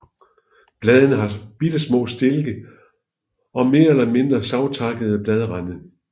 Bladene har bittesmå stilke og mere eller mindre savtakkede bladrande